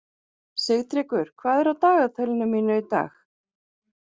Sigtryggur, hvað er á dagatalinu mínu í dag?